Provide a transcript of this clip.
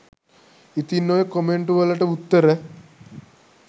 ඉතින් ඔය කොමෙන්ටු වලට උත්තර